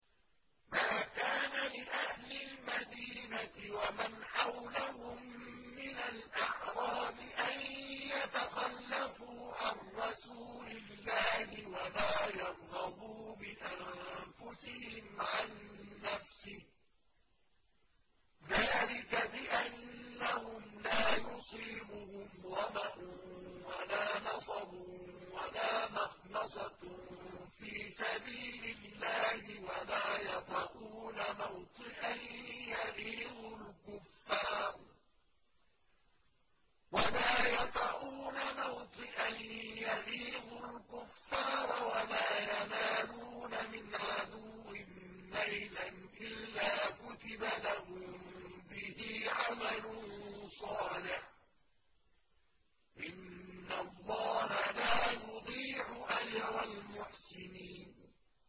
مَا كَانَ لِأَهْلِ الْمَدِينَةِ وَمَنْ حَوْلَهُم مِّنَ الْأَعْرَابِ أَن يَتَخَلَّفُوا عَن رَّسُولِ اللَّهِ وَلَا يَرْغَبُوا بِأَنفُسِهِمْ عَن نَّفْسِهِ ۚ ذَٰلِكَ بِأَنَّهُمْ لَا يُصِيبُهُمْ ظَمَأٌ وَلَا نَصَبٌ وَلَا مَخْمَصَةٌ فِي سَبِيلِ اللَّهِ وَلَا يَطَئُونَ مَوْطِئًا يَغِيظُ الْكُفَّارَ وَلَا يَنَالُونَ مِنْ عَدُوٍّ نَّيْلًا إِلَّا كُتِبَ لَهُم بِهِ عَمَلٌ صَالِحٌ ۚ إِنَّ اللَّهَ لَا يُضِيعُ أَجْرَ الْمُحْسِنِينَ